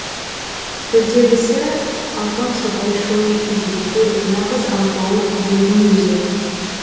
төрдегісі алпамсадай шой желке нағыз алпауыт дөйдің өзі